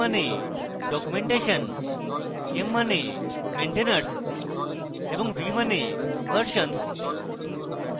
d মানে documentation m মানে maintainers এবং v মানে versions